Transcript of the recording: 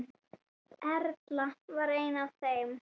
Erla var ein af þeim.